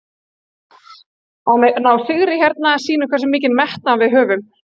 Að ná sigri hérna sýnir hversu mikinn metnað við höfum.